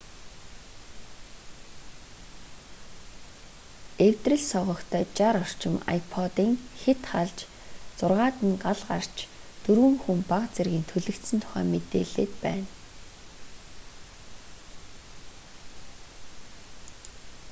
эвдрэл согогтой 60 орчим ipod-ын хэт халж зургаад нь гал гарч дөрвөн хүн бага зэргийн түлэгдсэн тухай мэдээлээд байна